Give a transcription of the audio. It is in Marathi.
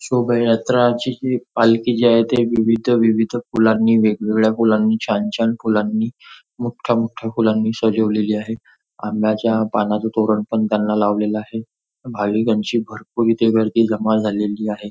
शोभा यात्राची जी पालखी जी आहे ते विविध विविध फुलांनी वेगवेगळ्या फुलांनी छान छान फुलांनी मोठ्या मोठ्या फुलांनी सजवलेली आहे आंब्याच्या पानाच तोरण पण त्यांना लावलेला आहे भाविकांची भरपूर इथे गर्दी जमा झालेली आहे.